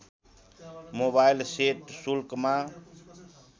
mobile set शुल्कमा